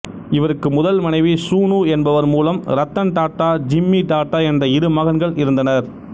இவருக்கு முதல் மனைவி சூனூ என்பவர் மூலம் ரத்தன் டாட்டா ஜிம்மி டாட்டா என்ற இரு மகன்கள் இருந்தனர்